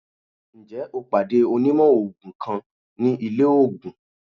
Njẹ o pade onimò oogun kan ni ile oogùn?